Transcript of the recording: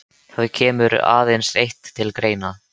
Það kemur aðeins eitt til greina.